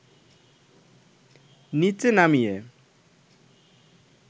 নিচে নামিয়ে